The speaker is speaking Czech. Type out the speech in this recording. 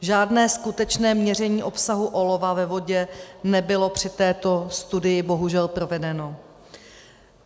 Žádné skutečné měření obsahu olova ve vodě nebylo při této studii bohužel provedeno.